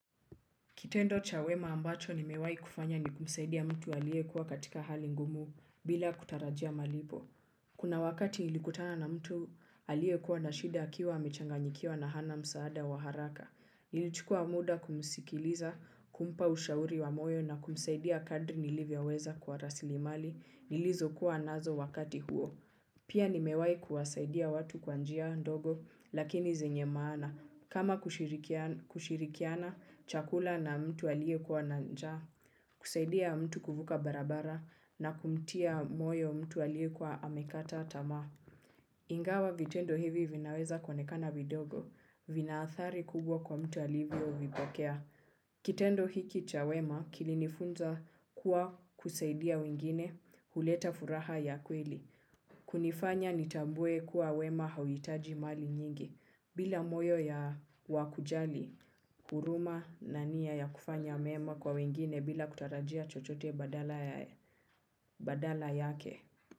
Kitendo cha wema ambacho nimewahi kufanya ni kumsaidia mtu aliyekuwa katika hali ngumu bila kutarajia malipo. Kuna wakati nilikutana na mtu aliyekuwa na shida akiwa amechanganyikiwa na hana msaada wa haraka. Nilichukua muda kumsikiliza, kumpa ushauri wa moyo na kumsaidia kadri nilivyoweza kwa rasilimali nilizokuwa nazo wakati huo. Pia nimewahi kuwasaidia watu kwa njia ndogo lakini zenye maana. Kama kushirikiana chakula na mtu aliyekuwa na njaa, kusaidia mtu kuvuka barabara na kumtia moyo mtu aliyekuwa amekata tamaa. Ingawa vitendo hivi vinaweza kuonekana vidogo, vina athari kubwa kwa mtu alivyovipokea. Kitendo hiki cha wema kilinifunza kuwa kusaidia wengine huleta furaha ya kweli. Kunifanya nitambue kuwa wema hauhitaji mali nyingi, bila moyo ya wa kujali, huruma na nia ya kufanya mema kwa wengine bila kutarajia chochote badala yake.